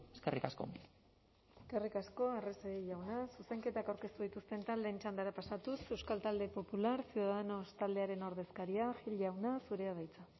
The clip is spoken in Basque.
eskerrik asko eskerrik asko arrese jauna zuzenketak aurkeztu dituzten taldeen txandara pasatuz euskal talde popular ciudadanos taldearen ordezkaria gil jauna zurea da hitza